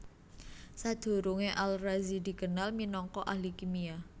Sadurungé Al Razi dikenal minangka ahli kimia